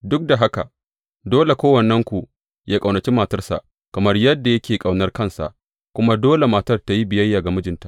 Duk da haka, dole kowannenku yă ƙaunaci matarsa kamar yadda yake ƙaunar kansa, kuma dole matar tă yi biyayya ga mijinta.